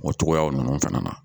O cogoya ninnu fana na